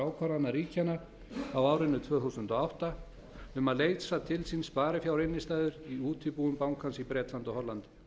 ákvarðana ríkjanna á árinu tvö þúsund og átta um að leysa til sín sparifjárinnstæður í útibúum bankans í bretlandi og hollandi